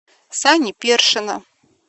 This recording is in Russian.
сани першина